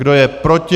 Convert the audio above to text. Kdo je proti?